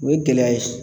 O ye gɛlɛya ye